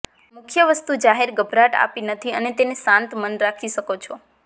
મુખ્ય વસ્તુ જાહેર ગભરાટ આપી નથી અને તેને શાંત મન રાખી શકો છો